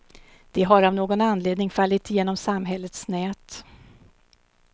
De har av någon anledning fallit genom samhällets nät.